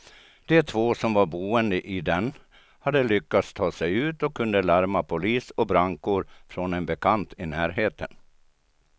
De två som var boende i den hade lyckats ta sig ut och kunde larma polis och brandkår från en bekant i närheten.